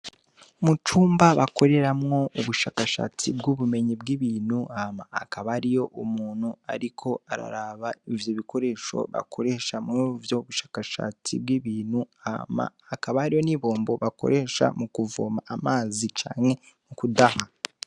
Mu cumba bakoreramwo ubushakashatsi bw'ubumenyi bw'ibintu hama hakaba hariyo umuntu ariko araraba ivyo bikoresho akoresha muri ubwo bushakashatsi bw'ibintu hama hakaba hariho n'ibombo bakoresha mu kuvoma amazi canke mu kudaha.